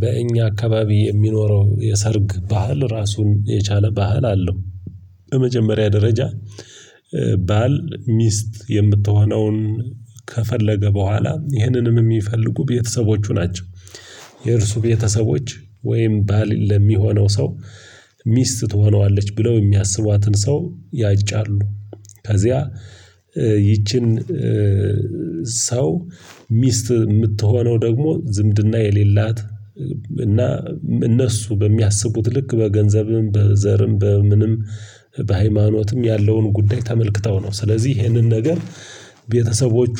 በእኛ አካባቢ የሚኖረው የሰርግ ባህል ራሱን የቻለ ባህል አለው። በመጀመሪያ ደረጃ። ባል ሚስት የምትሆነውን ከፈለገ በኋላ ይህንንም የሚፈልጉ ቤተሰቦቹ ናቸው። የእርሱ ቤተሰቦች ወይም ባል ለሚሆነው ሰው ሚስት ትሆናለች ብለው የሚያስቧትን ሰው ያጫሉ። ከዚያ ይቺን ሰው ሚስት የምትሆነው ደግሞ ዝምድና የሌላት እና እነሱ በሚያስቡት ልክ በገንዘብም በዘርም በምንም በሃይማኖትም ያለውን ጉዳይ ተመልክተው ነው። ስለዚህ ይህንን ነገር ቤተሰቦቹ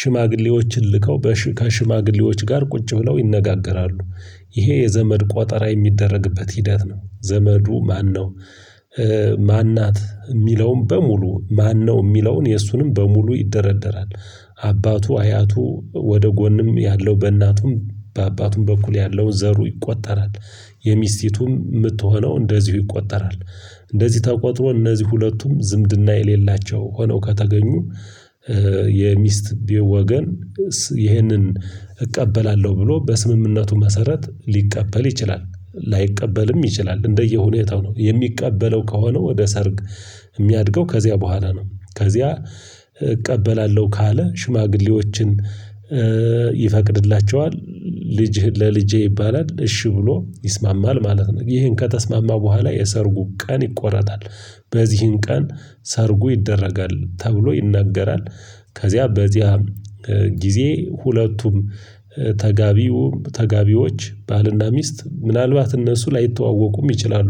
ሽማግሌዎችን ልከው ከሽማግሌዎች ጋር ቁጭ ብለው ይነጋገራሉ። ይሄ የዘመድ ቆጠራ የሚደረግበት ሂደት ነው። ዘመዱ ማነው? ማን ናት የሚለውን በሙሉ ማነው የሚለውን የእሱንም በሙሉ ይደረደራል። አባቱ አያቱ ወደ ጎንም ያለው በእናቱም በአባቱም በኩል ያለውን ዘሩ ይቆጠራል። የሚስቲቱም የምትሆነው እንደዚሁ ይቆጠራል። እንደዚህ ተቆጥሮ እነዚህ ሁለቱም ዝምድና የሌላቸው ሆነው ከተገኙ የሚስት ወገን ይህንን እቀበላለሁ ብሎ በስምምነቱ መሰረት ሊቀበል ይችላል። ላይቀበልም ይችላል እንደየሁኔታው ነው። የሚቀበለው ከሆነ ወደ ሰርግ የሚያድገው ከዚያ በኋላ ነው። ከዚያ እቀበላለሁ ካለ ሽማግሌዎችን ይፈቅድላቸዋል ልጅህን ለልጄ ይባላል እሺ ብሎ ይስማማል ማለት ነው። ይሄን ከተስማማ በኋላ የሰርጉ ቀን ይቆረጣል። በዚህን ቀን ሰርጉ ይደረጋል ተብሎ ይናገራል። ከዚያ በዚያ ጊዜ ሁለቱም ተጋቢው ተጋቢዎች ባልና ሚስት ምናልባት እነሱ ላይተዋወቁም ይችላሉ።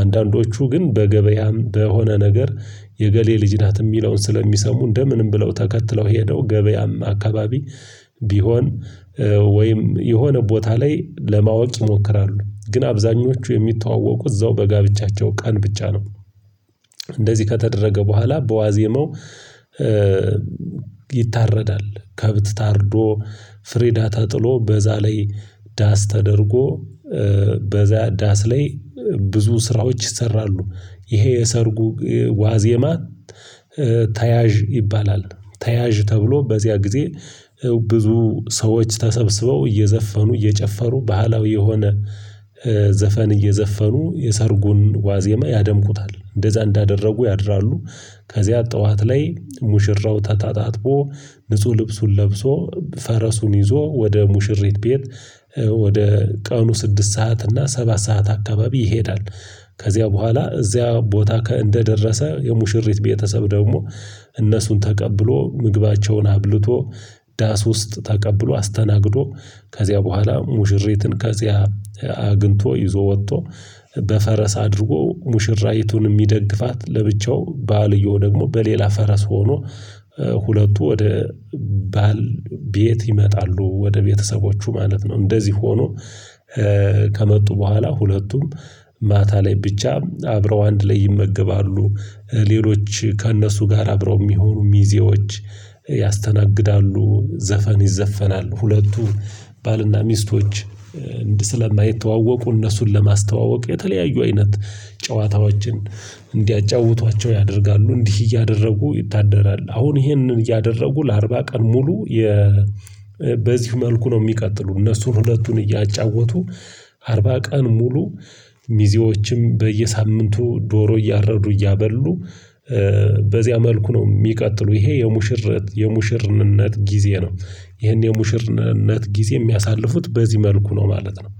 አንዳንዶቹ ግን በገበያም በሆነ ነገር የገሌ ልጅ ናት የሚለውን ስለሚሰሙ እንደምን ብለው ተከትለው ሄደው ገበያም አካባቢ ቢሆን ወይም የሆነ ቦታ ላይ ለማወቅ ይሞክራሉ ግን አብዛኞቹ የሚተዋወቁ እዛው በጋብቻቸው ቀን ብቻ ነው። እንደዚህ ከተደረገ በኋላ በዋዜማው ይታረዳል ከብት ታርዶ። ፍሬዳ ተጥሎ በዛ ላይ ዳስ ተደርጎ በዛ ዳስ ላይ ብዙ ስራዎች ይሰራሉ። ይሄ የሰርጉ ዋዜማ ተያዥ ይባላል። ተያዥ ተብሎ በዚያ ጊዜ ብዙ ሰዎች ተሰብስበው እየዘፈኑ እየጨፈሩ ባህላዊ የሆነ ዘፈን እየዘፈኑ የሰርጉን ዋዜማ ያደምኩታል እንደዛ እንዳደረጉ ያድራሉ። ከዚያ ጠዋት ላይ ሙሽራው ታጣጥቦ ንጹህ ልብሱን ለብሶ ፈረሱን ይዞ ወደ ሙሽሪት ቤት ወደ ቀኑ ስድስት ሰዓት እና ሰባት ሰዓት አካባቢ ይሄዳል። ከዚያ በኋላ እዚያ ቦታ እንደደረሰ የሙሽሪት ቤተሰብ ደግሞ እነሱን ተቀብሎ ምግባቸውን አብልቶ ዳስ ውስጥ ተቀብሎ አስተናግዶ ከዚያ በኋላ ሙሽሬትን ከዚያ አግንቶ ይዞ ወጥቶ። በፈረስ አድርጎ ሙሽራይቱንም ይደግፋት ለብቻው ባልየው ደግሞ በሌላ ፈረስ ሆኖ ሁለቱ ወደ ባል ቤት ይመጣሉ ወደ ቤተሰቦቹ ማለት ነው። እንደዚህ ሆኖ። ከመጡ በኋላ ሁለቱም ማታ ላይ ብቻ አብረው አንድ ላይ ይመገባሉ ሌሎች ከእነሱ ጋር አብረው የሚሆኑ ሚዜዎች ያስተናግዳሉ ዘፈን ይዘፈናሉ ሁለቱ ባልና ሚስቶች። ስለማይተዋወቁ እነሱን ለማስተዋወቅ የተለያዩ አይነት ጨዋታዎችን እንዲያጫውቷቸው ያደርጋሉ። እንዲህ እያደረጉ ይታደራል አሁን ይሄንን እያደረጉ ለአርባ ቀን ሙሉ የ መልኩ ነው። የሚቀጥሉት እነሱን ሁለቱን እያጫወቱ አርባ ቀን ሙሉ። ሚዜዎችም በየሳምንቱ ዶሮ እያረዱ እያበሉ። በዚያ መልኩ ነው የሚቀጥሉ ይሄ የሙሽርነት ጊዜ ነው። ይሄን የሙሽርነት ጊዜ የሚያሳልፉት በዚህ መልኩ ነው ማለት ነው።